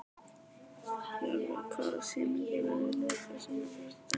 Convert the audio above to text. Jarfi, hvaða sýningar eru í leikhúsinu á föstudaginn?